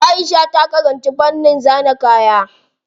Aisha ta karanci fannin zana kaya.